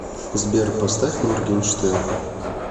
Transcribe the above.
сбер поставь моргенштерн